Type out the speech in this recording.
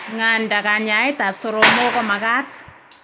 Ng'anda, kanyaet ab soromok ko magaat